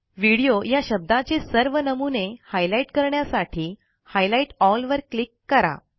video या शब्दाचे सर्व नमुने हायलाइट करण्यासाठी हायलाइट एल वर क्लिक करा